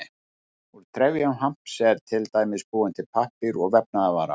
Úr trefjum hamps er til dæmis búinn til pappír og vefnaðarvara.